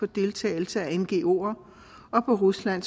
deltagelse af ngoer og på rusland